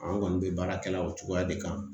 An kɔni bɛ baara kɛla o cogoya de kan